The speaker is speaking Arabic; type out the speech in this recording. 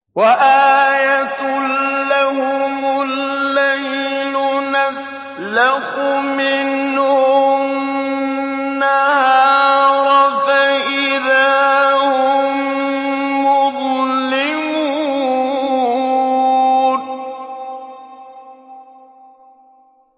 وَآيَةٌ لَّهُمُ اللَّيْلُ نَسْلَخُ مِنْهُ النَّهَارَ فَإِذَا هُم مُّظْلِمُونَ